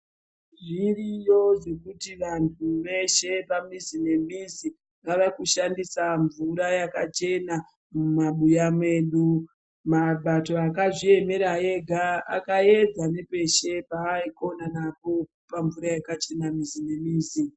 Zviriyo zvekuti vantu veshe, pamizi nemizi, vavakushandisa mvura yakachena mumabuya medu. Mabato akazviyemera ega, akayedza nepeshe payikonanapo, pamvura yakachena mizi nemizi.